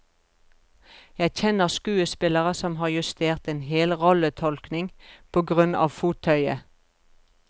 Jeg kjenner skuespillere som har justert en hel rolletolkning på grunn av fottøyet.